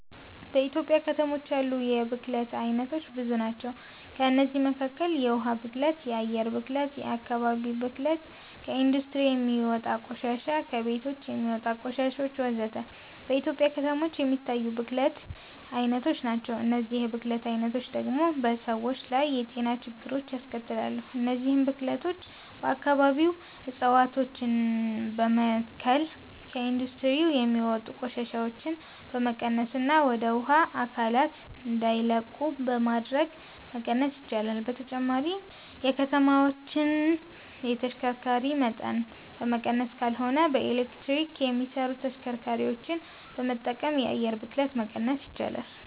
በኢትዮጵያ ከተሞች ያሉ የብክለት አይነቶች ብዙ ናቸው። ከእነዚህም መካከል የውሃ ብክለት፣ የአየር ብክለት፣ የአከባቢ ብክለት፣ ከኢንዱስትሪ የሚወጣ ቆሻሻ፣ ከቤቶች የሚወጣ ቆሻሾች ወዘተ። በኢትዮጵያ ከተሞች የሚታይ የብክለት አይነቶች ናቸው። እነዚህ የብክለት አይነቶች ደግሞ በሰዎች ላይ የጤና ችግሮችን ያስከትላሉ። እነዚህን ብክለቶች በአከባቢ እፀዋቶችን በመትከል፣ ከኢንዱስትሪ የሚወጡ ቆሻሻዎችን በመቀነስና ወደ ውሃ አካላት እንዳይለቁ በማድረግ መቀነስ ይቻላል። በተጨማሪም የከተማዎችን የተሽከርካሪ መጠን በመቀነስ ካልሆነም በኤሌክትሪክ የሚሰሩ ተሽከርካሪዎችን በመጠቀም የአየር ብክለትን መቀነስ ይቻላል።